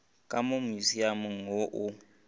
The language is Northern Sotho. ka mo musiamong wo o